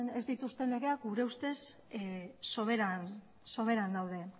ez dituzten eskubideak gure ustez soberan daude